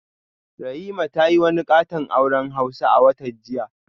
Rahima ta yi wani katon auren hausa a watan jiya